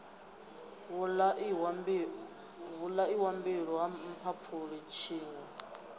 vhulaiwa mbilwi ha mphaphuli tshiṋwe